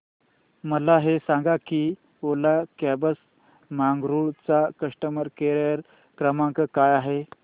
मला हे सांग की ओला कॅब्स बंगळुरू चा कस्टमर केअर क्रमांक काय आहे